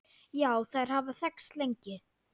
Já, þær hafa þekkst lengi.